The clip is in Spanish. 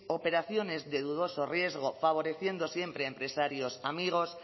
operaciones de dudoso riesgo favoreciendo siempre a empresarios amigos